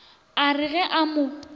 a re ge a mo